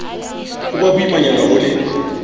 ho ba boimanyana ho le